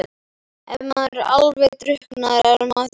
Ef maður er alveg drukknaður, er maður þá dáinn?